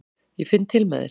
Ég finn til með þér.